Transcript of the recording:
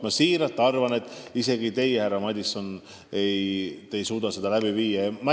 Ma tõesti arvan, et isegi teie, härra Madison, ei suuda seda läbi viia.